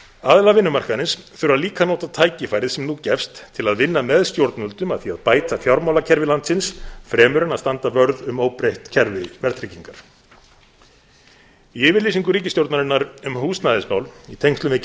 aðilar vinnumarkaðarins þurfa líka að nota tækifærið sem nú gefst til að vinna með stjórnvöldum að því að bæta fjármálakerfi landsins fremur en að standa vörð um óbreytt kerfi verðtryggingar í yfirlýsingu ríkisstjórnarinnar um húsnæðismál í tengslum við